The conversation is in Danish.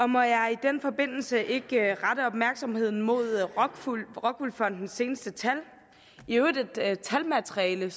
må jeg i den forbindelse ikke rette opmærksomheden mod rockwool fondens seneste tal i øvrigt et talmateriale